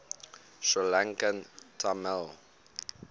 sri lankan tamil